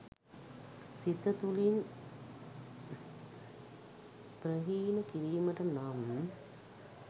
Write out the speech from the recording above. සිත තුළින් ප්‍රහීණ කිරීමට නම්